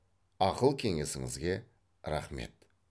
ақыл кеңесіңізге рақмет